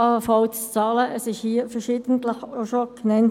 Das wurde hier schon verschiedentlich gesagt.